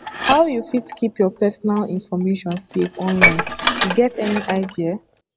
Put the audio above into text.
how you fit keep your personal information safe online you get any idea